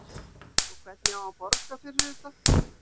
Og hvernig á að borga fyrir þetta?